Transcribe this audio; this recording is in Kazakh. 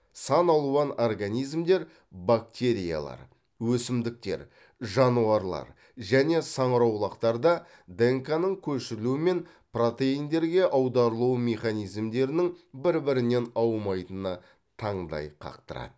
сан алуан организмдер бактериялар өсімдіктер жануарлар және саңырауқұлақтарда днк ның көшірілу мен протеиндерге аударылу механизмдерінің бір бірінен аумайтыны таңдай қақтырады